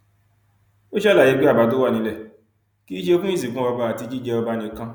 ó ṣàlàyé pé àbá tó wà nílẹ náà kì í ṣe fún ìsìnkú ọba àti jíjẹ ọba nìkan